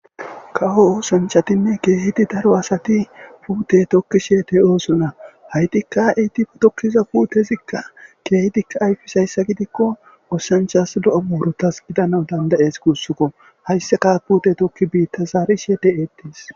kawo oosanchatinne keehiti daro asati puute tokki sheete oosona haytikka etife tokkiza puutezikka keehitikka ayfisayssa gidikko oosanchas lo7o buurotas gidana dandayes kuussukko hayssaka puute tokki biitta zaari sheete eettis